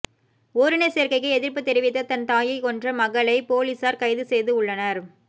ஓரின சேர்க்கைக்கு எதிர்ப்பு தெரிவித்த தன் தாயை கொன்ற மகளை போலீசார் கைது செய்து உள்ளனர்